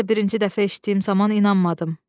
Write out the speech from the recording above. Mən də birinci dəfə eşitdiyim zaman inanmadım.